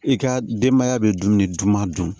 I ka denbaya bɛ dumuni duman dun